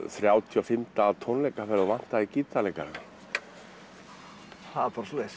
þrjátíu og fimm daga tónleikaferð og vantaði gítarleikara það var bara svoleiðis